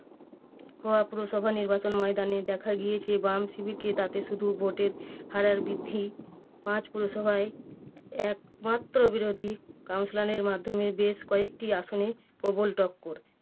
হাওড়া পুরসভা নির্বাচন ময়দানে দেখা গিয়েছে বাম শিবিরকে তাকে শুধু ভোটে হারার বৃদ্ধি পাঁচ পুরসভায় একমাত্র বিরোধী councilor এর মাধ্যমে বেশ কয়েকটি আসনে প্রবল তৎপর